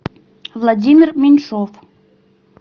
владимир меньшов